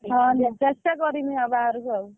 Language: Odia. ହଁ ଚେଷ୍ଟା କରିବି ଆଉ ବାହାଘରକୁ ଆଉ।